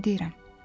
Nə deyirəm?